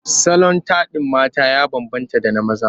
Salon taɗin mata ya bambanta da na maza.